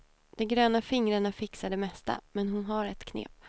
De gröna fingrarna fixar det mesta, men hon har ett knep.